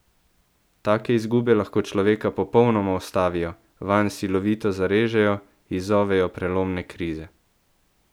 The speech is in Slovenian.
Take izgube lahko človeka popolnoma ustavijo, vanj silovito zarežejo, izzovejo prelomne krize.